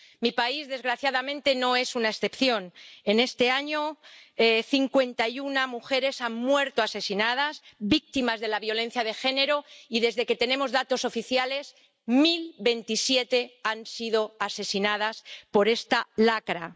Mi país, desgraciadamente, no es una excepción. En este año cincuenta y una mujeres han muerto asesinadas víctimas de la violencia de género y, desde que tenemos datos oficiales, mil veintisiete han sido asesinadas por esta lacra.